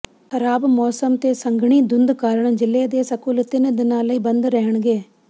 ਖ਼ਰਾਬ ਮੌਸਮ ਤੇ ਸੰਘਣੀ ਧੁੰਦ ਕਾਰਨ ਜ਼ਿਲ੍ਹੇ ਦੇ ਸਕੂਲ ਤਿੰਨ ਦਿਨਾਂ ਲਈ ਬੰਦ ਰਹਿਣਗੇ